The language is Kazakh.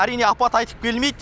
әрине апат айтып келмейді